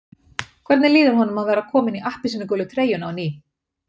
Hvernig líður honum að vera kominn í appelsínugulu treyjuna á ný?